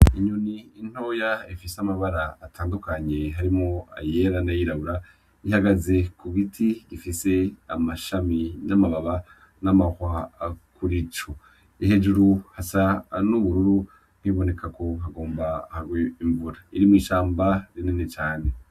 Inyoni ntoya ifise amabara atandukanye harimwo ayera n’ayirabura, ihagaze ku giti gifise amashami , n’amababi, n’amahwa kuri co. Hejuru hasa n’ubururu biboneka ko hagomba hagwe imvura , iri mwi ishamba rinini cane.